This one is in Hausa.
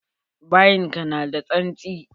Bayin ka na da tsantsi.